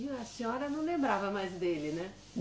E a senhora não lembrava mais dele, né?